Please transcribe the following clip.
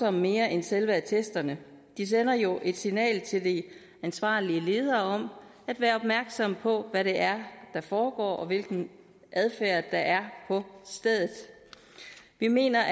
om mere end selve attesterne det sender jo et signal til de ansvarlige ledere om at være opmærksomme på hvad det er der foregår og hvilken adfærd der er på stedet vi mener